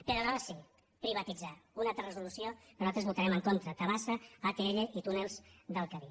però aleshores sí privatitzar una altra resolució que nosaltres votarem en contra tabasa atll i túnels del cadí